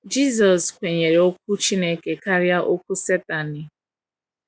Jisọs kwenyere Okwu Chineke karịa Okwu Satani.